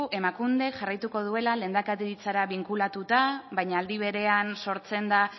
emakundek jarraituko duela lehendakaritzara binkulatuta baina aldi berean sortzen da